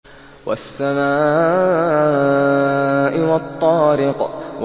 وَالسَّمَاءِ وَالطَّارِقِ